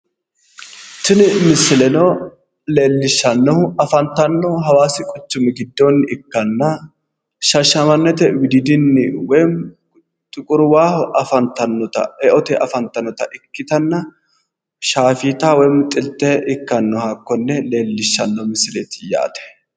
Tini misileno leelishshannohu afantannohu hawaasi quchumi giddoonni ikkatanna shaahshamannete widiidinni woyim xuquri waaho afantannota eote afantannota ikkanna shaafeeta woyim xilte ikkannoha hakkonne leellishshsaanno misleete yaate.